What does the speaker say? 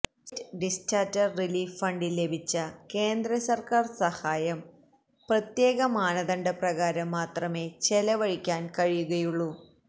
state disaster relief ഫണ്ടിൽ ലഭിച്ച കേന്ദ്ര സർക്കാർ സഹായം പ്രത്യേക മാനദണ്ഡ പ്രകാരം മാത്രമേ ചെലവഴിക്കാൻ കഴിയുകയുള്ളൂ